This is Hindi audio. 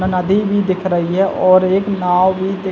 नदी भी दिख रही है और एक नाव भी दिख--